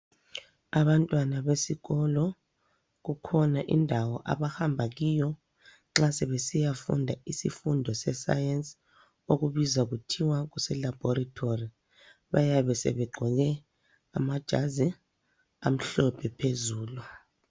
Abantwana besikolo, kukhona indawo abahambakiyo nxa sebesiyafunda isifundo sesayensi, okubizwa kuthiwa kuselabhorethori. Bayabe sebegqoke amajazi amhlophe phezulu.